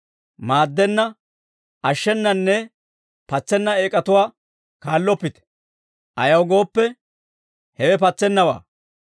Maaddenna, ashshenanne patseena eek'atuwaa kaalloppite; ayaw gooppe, hewe patsennawaa.